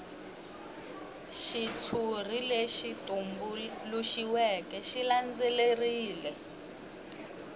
xitshuri lexi tumbuluxiweke xi landzelerile